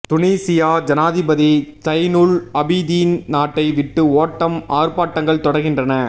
துனீசியா ஜனாதிபதி Zine El Abidine நாட்டை விட்டு ஓட்டம் ஆர்பாட்டங்கள் தொடர்கின்றன